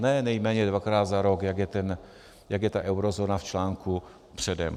Ne nejméně dvakrát za rok, jak je ta eurozóna v článku předem.